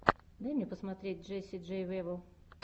дай мне посмотреть джесси джей вево